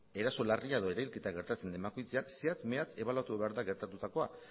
eraso larria edo erailketa gertatzen den bakoitzean zehatz mehatz ebaluatu behar da gertatutakoa